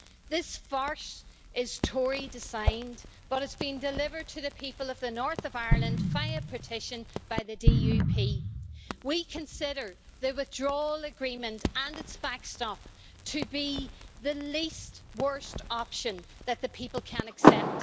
This farce is Tory designed, but it is being delivered to the people of the north of Ireland, via partition, by the DUP. We consider the withdrawal agreement and its backstop to be the least worst' option that the people can accept.